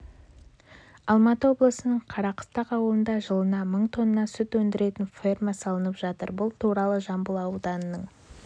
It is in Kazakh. алматы облысының қарақыстақ ауылында жылына мың тонна сүт өндіретін ферма салынып жатыр бұл туралы жамбыл ауданының